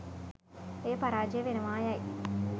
එය පරාජය වෙනවා යයි